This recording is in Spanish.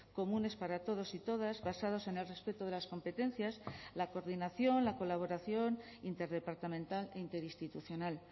comunes para todos y todas basados en el respeto de las competencias la coordinación la colaboración interdepartamental e interinstitucional